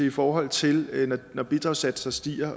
i forhold til når bidragssatser stiger